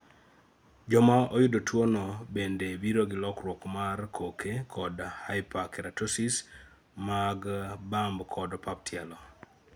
joma oyudo tuo no bende biro gi lokruok mar koke kod hyperkeratosis mag bamb kod opap tielo